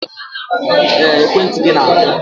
Ee, ekwentị gị na-akụ.